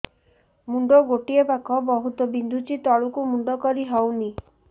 ମୁଣ୍ଡ ଗୋଟିଏ ପାଖ ବହୁତୁ ବିନ୍ଧୁଛି ତଳକୁ ମୁଣ୍ଡ କରି ହଉନି